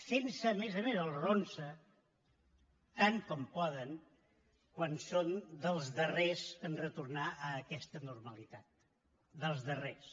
fent se a més a més el ronsa tant com poden que són dels darrers a retornar a aquesta normalitat dels darrers